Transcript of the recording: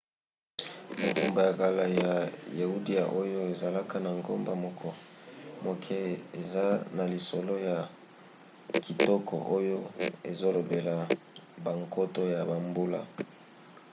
engumba ya kala ya yudea oyo ezalaka na ngomba moke eza na lisolo ya kitoko oyo ezolobela bankoto ya bambula